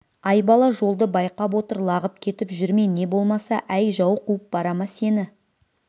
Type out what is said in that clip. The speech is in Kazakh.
ай бала жолды байқап отыр лағып кетіп жүрме не болмаса әй жау қуып бара ма сені